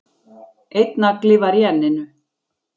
Einn nagli var í enninu